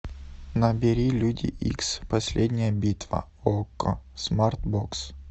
набери люди икс последняя битва окко смарт бокс